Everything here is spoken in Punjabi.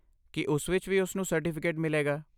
ਕੀ ਉਸ ਵਿੱਚ ਵੀ ਉਸਨੂੰ ਸਰਟੀਫਿਕੇਟ ਮਿਲੇਗਾ?